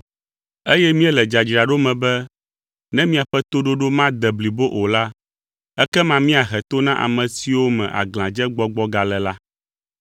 Eye míele dzadzraɖo me be ne miaƒe toɖoɖo made blibo o la, ekema míahe to na ame siwo me aglãdzegbɔgbɔ gale la.